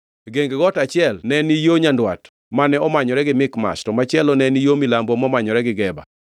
Geng got achiel ne ni yo nyandwat mane omanyore gi Mikmash, to machielo ne ni yo milambo momanyore gi Geba.